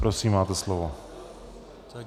Prosím, máte slovo.